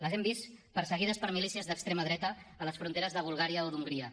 les hem vist perseguides per milícies d’extrema dreta a les fronteres de bulgària o d’hongria